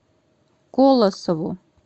колосову